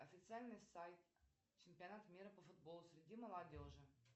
официальный сайт чемпионата мира по футболу среди молодежи